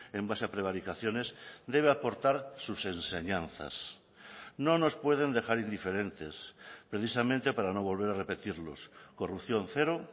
en base a prevaricaciones debe aportar sus enseñanzas no nos pueden dejar indiferentes precisamente para no volver a repetirlos corrupción cero